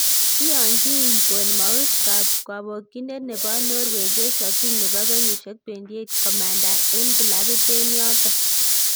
Iyonchin Bournemouth Kobokyinindet nebo Norway Joshua King, nebo kenyisiek 28,komanda en kilabit en yoton